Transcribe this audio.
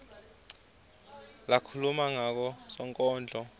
lakhuluma ngako sonkondlo